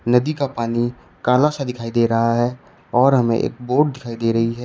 नदी का पानी काला सा दिखाई दे रहा है और हमें एक बोट दिखाई दे रही है।